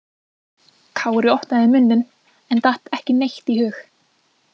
Kári opnaði munninn en datt ekki neitt í hug.